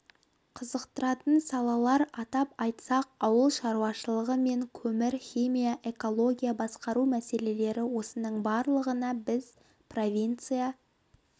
қызықтыратын салалар атап айтсақ ауыл шаруашылығы мен көмір-химия экология басқару мәселелері осының барлығына біз провинция